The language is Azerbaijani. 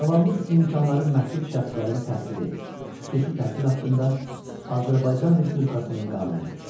Sağlamlıq imkanları məhdud şəxslərin təhsili, xüsusi təhsil haqqında Azərbaycan Respublikasının qanunu.